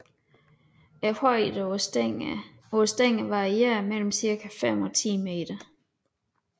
Højden på stængerne varierede mellem cirka fem og ti meter